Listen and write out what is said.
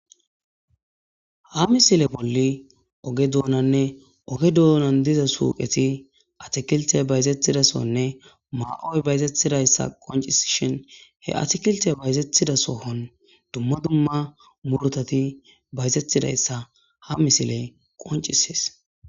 Ha missile boli oge donanne oge donan diza suqeti atakilite bayzetiza sohonne ma'oy bayzetizaysa qonc'isishen he atikilite bayzetiza sohon duma duma murutati bayzetizaysa ha missiley qonc'ses.